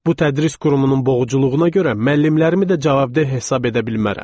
Bu tədris qurumunun boğuculuğuna görə müəllimlərimi də cavabdeh hesab edə bilmərəm.